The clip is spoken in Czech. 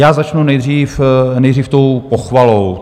Já začnu nejdřív tou pochvalou.